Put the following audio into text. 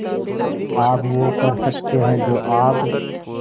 आप वो कर सकते हैं जो आप